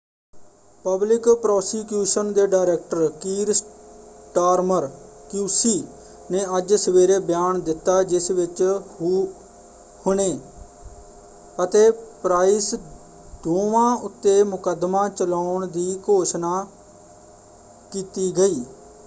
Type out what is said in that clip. Public prosecution ਦੇ director Keir Starmer Q C ਨੇ ਅੱਜ ਸਵੇਰੇ ਬਿਆਨ ਦਿੱਤਾ ਜਿਸ ਵਿੱਚ ਹੁਹਨੇ ਅਤੇ ਪ੍ਰਾਈਸ ਦੋਵਾਂ ਉੱਤੇ ਮੁਕੱਦਮਾ ਚਲਾਉਣ ਦੀ ਘੋਸ਼ਣਾ ਕੀਤੀ ਗਈ।